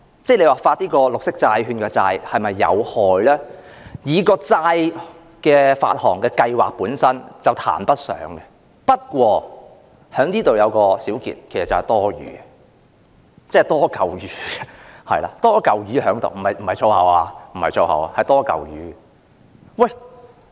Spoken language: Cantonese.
若要說發行綠色債券是否有害，發行債券的計劃本身談不上有害，但我在這裏作一個小結，其實此舉是多餘的，即"多嚿魚"——這不是粗言——是"多嚿魚"。